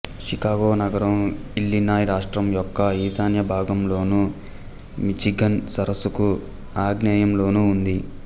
Chicago నగరం Illinois రాష్ట్రం యొక్క ఈశాన్య భాగంలోనూ మిచిగన్ సరస్సుకు ఆగ్నేయంలోనూ ఉంది